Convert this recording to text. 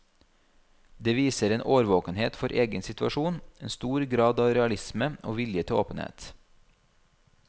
Det viser en årvåkenhet for egen situasjon, en stor grad av realisme og vilje til åpenhet.